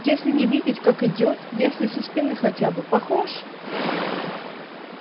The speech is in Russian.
если не видеть как идёт если со спины хотя бы похож